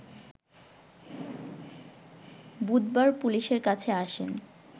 বুধবার পুলিশের কাছে আসেন